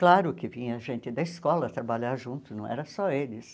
Claro que vinha gente da escola trabalhar junto, não era só eles.